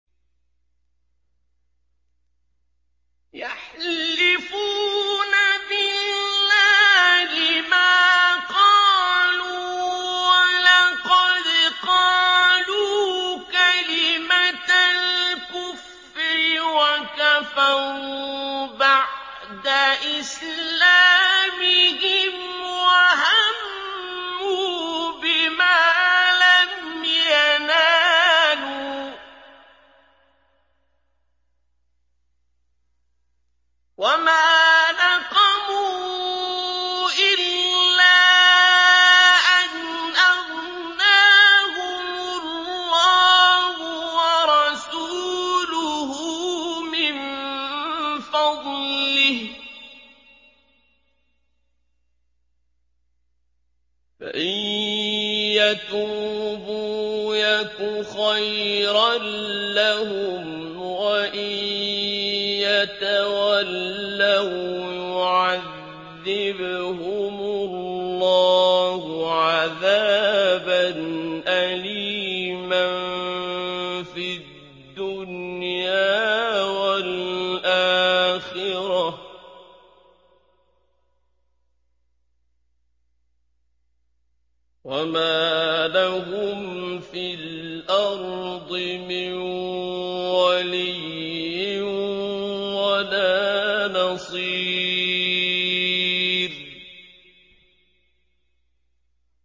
يَحْلِفُونَ بِاللَّهِ مَا قَالُوا وَلَقَدْ قَالُوا كَلِمَةَ الْكُفْرِ وَكَفَرُوا بَعْدَ إِسْلَامِهِمْ وَهَمُّوا بِمَا لَمْ يَنَالُوا ۚ وَمَا نَقَمُوا إِلَّا أَنْ أَغْنَاهُمُ اللَّهُ وَرَسُولُهُ مِن فَضْلِهِ ۚ فَإِن يَتُوبُوا يَكُ خَيْرًا لَّهُمْ ۖ وَإِن يَتَوَلَّوْا يُعَذِّبْهُمُ اللَّهُ عَذَابًا أَلِيمًا فِي الدُّنْيَا وَالْآخِرَةِ ۚ وَمَا لَهُمْ فِي الْأَرْضِ مِن وَلِيٍّ وَلَا نَصِيرٍ